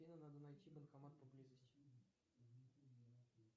афина надо найти банкомат поблизости